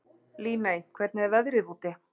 Líney, hvernig er veðrið úti?